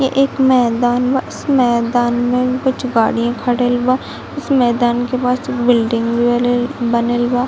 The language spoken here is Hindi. ये एक मैदान बा इस मैदान में कुछ गाड़िये खड़ल बा इस मैदान के पास बिल्डिंग बाले बनेल बा ।